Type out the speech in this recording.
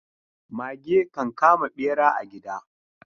Mage kan kama bera a gida.